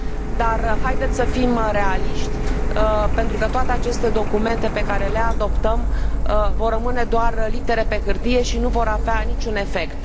Dar haideți să fim realiști pentru că toate aceste documente pe care le adoptăm vor rămâne doar litere pe hârtie și nu vor avea niciun efect.